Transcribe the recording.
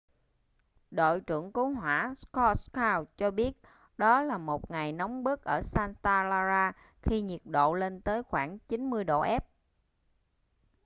đội trưởng cứu hỏa scott kouns cho biết đó là một ngày nóng bức ở santa clara khi nhiệt độ lên tới khoảng 90 độ f